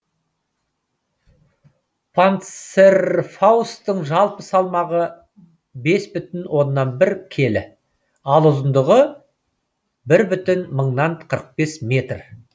панцерфаусттың жалпы салмағы бес бүтін оннан бір келі ал ұзындығы бір бүтін мыңнан қырық бес метр